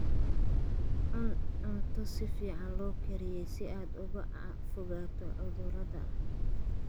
Cun cunto si fiican loo kariyey si aad uga fogaato cudurrada.